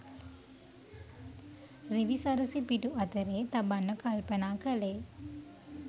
රිවිසරසි පිටු අතරේ තබන්න කල්පනා කළේ